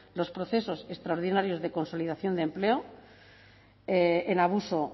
los procesos extraordinarios de consolidación de empleo en abuso o